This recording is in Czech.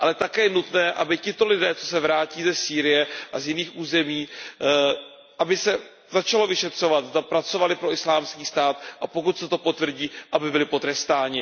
Také je nutné, aby tito lidé, co se vrátí ze Sýrie a z jiných území, aby se začalo vyšetřovat, zda pracovali pro Islámský stát a pokud se to potvrdí, aby byli potrestáni.